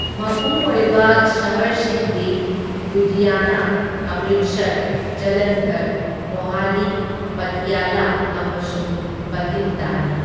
ꯃꯄꯨꯡ ꯑꯣꯏꯕ ꯁꯍꯔꯁꯤꯡꯗꯤ ꯂꯨꯙꯤꯌꯥꯅꯥ, ꯑꯃ꯭ꯔꯤꯠꯁꯔ, ꯖꯂꯟꯙꯔ, ꯃꯣꯍꯥꯂꯤ, ꯄꯇꯤꯌꯥꯂꯥ ꯑꯃꯁꯨꯡ ꯚꯇꯤꯟꯗꯥꯅꯤ꯫